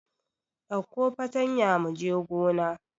Ɗauko fatanya mu je gona!